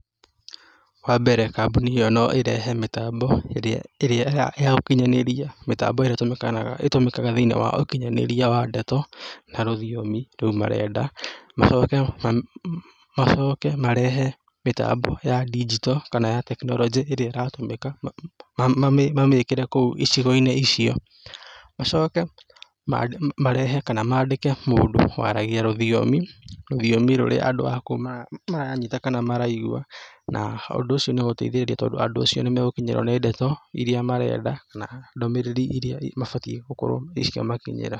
Wa mbere, kambuni ĩyo no ĩrehe mĩtambo ĩrĩa ya gũkinyanĩria, mĩtambo ĩrĩa itũmĩkanaga, ĩtũmikaga thĩ-inĩ wa ũkinyanĩria wa ndeto, na rũthiomi rou marenda. Macoke macoke marehe mĩtambo ya digital kana ya tekinoronjĩ ĩrĩa ĩratũmĩka, mamĩkĩre kũu icigo-inĩ icio, Macoke marehe kana mandĩke mũndũ waragia rũthiomi, rũthiomi rũrĩa andũ a kũu maranyita kana maraigua, na ũndũ ũcio nĩ ũgũteithĩrĩria tondũ andũ acio nĩ magũkinyĩrwo nĩ ndeto iria marenda, na ndũmĩrĩri iria mabatiĩ gũkorwo cikĩmakinyĩra.